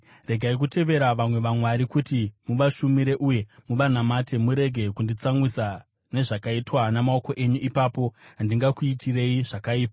Regai kutevera vamwe vamwari kuti muvashumire uye muvanamate; murege kunditsamwisa nezvakaitwa namaoko enyu. Ipapo handingakuitirei zvakaipa.”